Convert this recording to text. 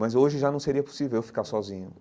Mas hoje já não seria possível eu ficar sozinho.